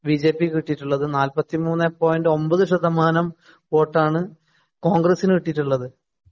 ബിജെപിക്ക് കിട്ടിയിട്ടുള്ളത് നാല്പത്തി മൂന്നേ പോയിന്‍റ് ഒമ്പത് ശതമാനം വോട്ടാണ് കോണ്‍ഗ്രസിന് കിട്ടിയിട്ടുള്ളത്.